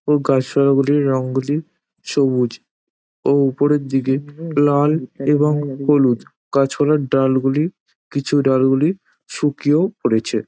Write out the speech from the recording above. ও গাছপালা গুলির রং গুলি সবুজ ও উপরের দিকে লাল এবং হলুদ গাছপালার ডাল গুলি কিছু ডাল গুলি শুকিয়ে পড়েছে |